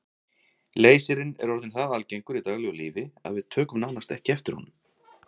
Leysirinn er orðinn það algengur í daglegu lífi að við tökum nánast ekki eftir honum.